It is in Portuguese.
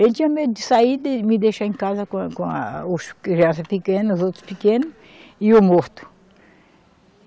Ele tinha medo de sair de me deixar em casa com a, com a, os crianças pequenas, os outros pequeno e o morto.